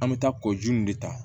An bɛ taa kɔji nin de ta